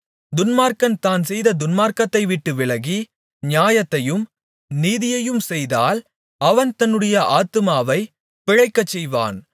துன்மார்க்கன் தான் செய்த துன்மார்க்கத்தைவிட்டு விலகி நியாயத்தையும் நீதியையும் செய்தால் அவன் தன்னுடைய ஆத்துமாவைப் பிழைக்கச்செய்வான்